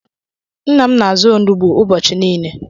Nna m na-azụ olugbu ụbọchị niile.